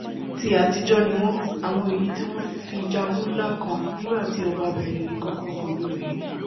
ti àtijọ́ ni wọ́n àwọn èyí tí wọ́n fi jagun ńla kan nígbàtí ọba-bìnrin yìí kọ́kọ́ gorí oyè